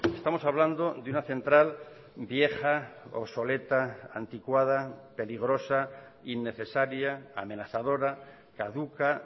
estamos hablando de una central vieja obsoleta anticuada peligrosa innecesaria amenazadora caduca